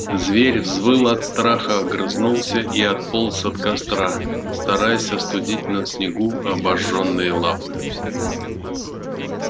зверь взвыл от страха огрызнулся и отполз от костра стараясь остудить на снегу обожжённые лапы